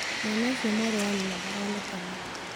mwana ũcio mwarĩ wa nyina ndaronekana